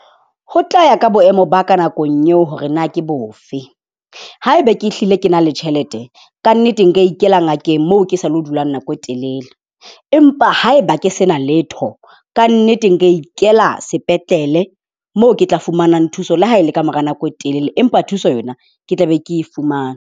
Ho tla ya ka boemo ba ka nakong eo hore na ke bofe. Haeba ke hlile ke na le tjhelete kannete, nka ikela ngakeng moo ke sa lo dulang nako e telele, empa haeba ke sena letho kannete, nka ikela sepetlele mo ke tla fumanang thuso le ha e le kamora nako e telele empa thuso yona ke tla be ke e fumane.